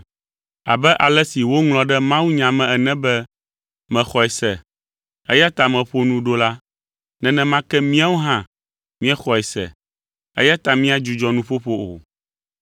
Abe ale si woŋlɔ ɖe mawunya me ene be, “Mexɔe se, eya ta meƒo nu ɖo” la, nenema ke míawo hã míexɔe se, eya ta míadzudzɔ nuƒoƒo o.